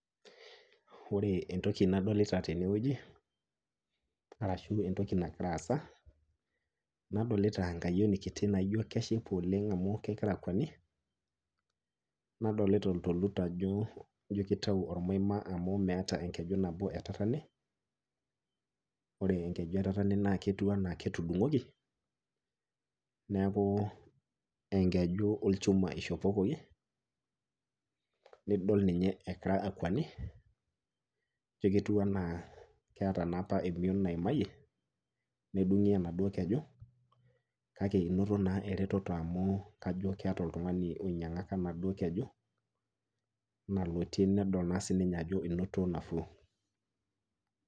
Ore entoki nadolita tenewueji arashu entoki nagira aasa nadolita enkayioni kiti naijo keshipa oleng' amu kegira akweni, nadolita oltolut ajo ijo keitau olmaima amu meata enkeju nabo etatene. Ore enkeju etatene netiu anaa ketudung'oki neakuu enkeju olchuma eishopokoki nidol ninye egira akweni ijo ketiu anaa keata naapa emion naimaye nedung'i enaduo keju kake einoto naa eretoto amu kajo eata oltung'ani oinyang'aka naduo keju nalotie nedol naa sininye ajo einoto nafuu.